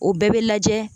O bɛɛ bɛ lajɛ